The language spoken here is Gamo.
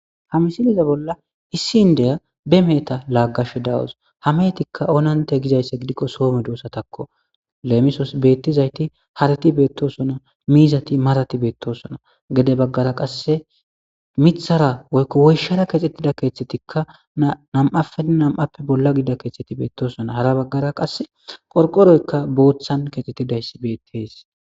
ha misiliza bolla issi indeya be meeta laaggashe dawus hametikka oonante gizaysse gidikko soome doosa takko leemisos beettizayti harati beettosona miizati marati beettosona gede baggara qasse mithara woykko woyshara kexxettida keeththetikka nam7ape nam7appe bolla gida keeththetti beettosona hara baggara qasse qorqoroykka booththan keexxetidayss beetti dees.